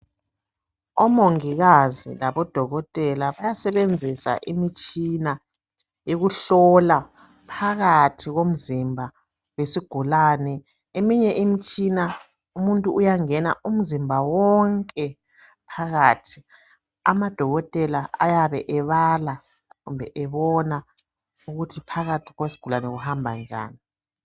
Omongikazi labodokotela basebenzisa imitshina yekuhlola phakathi komzimba wesigulane. Eminye imitshina umuntu uyangena umzimba wonke phakathi amadokotela ayabe ebala kumbe ebona ukuthi phakathi kwesigulane kuhamba njani.